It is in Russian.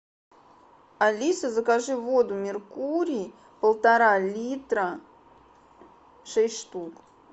алиса закажи воду меркурий полтора литра шесть штук